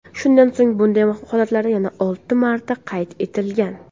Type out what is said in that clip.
Shundan so‘ng bunday holatlar yana olti marta qayd etilgan.